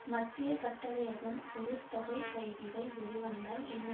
மத்திய கட்டளையகம் ஒரு தொகை கைதிகள் வெளிவந்தால் என்ன